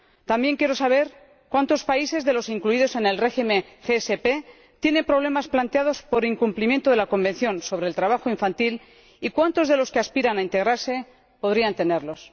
También quiero saber cuántos países incluidos en el SPG tienen problemas planteados por incumplimiento del Convenio sobre el trabajo infantil, y cuántos de los que aspiran a integrarse podrían tenerlos.